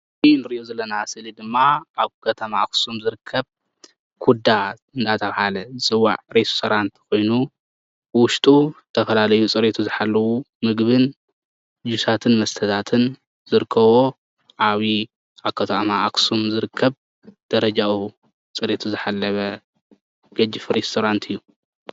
ኣብዚ እንሪኦ ዘለና ምስሊ ድማ ኣብ ከተማ ኣክሱም ዝርከብ ኩዳ እንዳተባሃለ ዝፅዋዕ ሬስቶራንት ኮይኑ ብውሽጡ ዝተፈላለዩ ፅሬቱ ዝሓለዉ ምግብን ሉስሉሳትን መስታታትን ዝርከብዎም ዓብይ ኣብ ከተማ ኣክሱም ዝርከብ ደረጅኡ ፅሬቱ ዝሓለወ ገጅፍ ሬስቶራንት እዩ።